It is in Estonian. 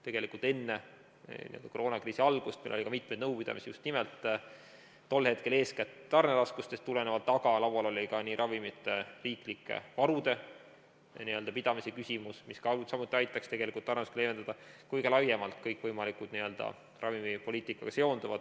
Tegelikult enne koroonakriisi algust oli meil mitmeid nõupidamisi, tol hetkel just nimelt tarneraskustest tulenevalt, aga laual oli nii ravimite riiklike varude pidamise küsimus, mis samuti aitaks tarneraskusi leevendada, kui ka laiemalt kõikvõimalik ravimipoliitikaga seonduv.